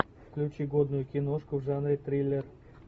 включи годную киношку в жанре триллер